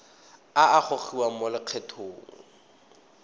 a a gogiwang mo lokgethong